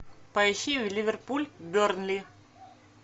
поищи ливерпуль бернли